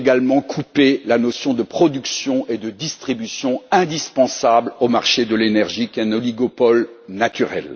Vous avez également coupé les notions de production et de distribution indispensables au marché de l'énergie, lequel est un oligopole naturel.